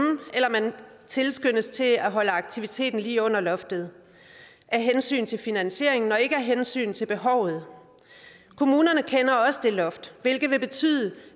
eller man tilskyndes til at holde aktiviteten lige under loftet af hensyn til finansieringen og ikke af hensyn til behovet kommunerne kender også det loft vil det betyde